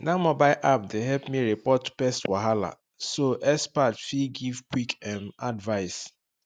that mobile app dey help me report pest wahala so expert fit give quick um advice